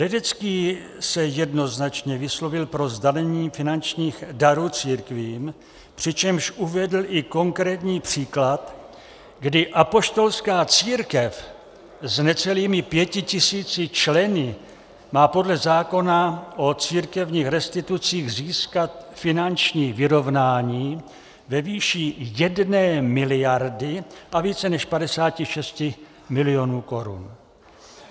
Ledecký se jednoznačně vyslovil pro zdanění finančních darů církvím, přičemž uvedl i konkrétní příklad, kdy Apoštolská církev s necelými pěti tisíci členy má podle zákona o církevních restitucích získat finanční vyrovnání ve výši jedné miliardy a více než 56 milionů korun.